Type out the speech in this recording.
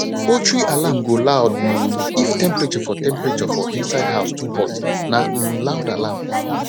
poultry alarm go loud um if temperature for temperature for inside house too hot na um loud alarm